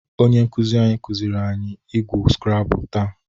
Onye nkụzị anyị kụzịrị anyị igwu skrabụl taa.